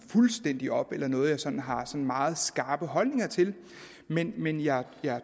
fuldstændig op eller noget som jeg har meget skarpe holdninger til men men jeg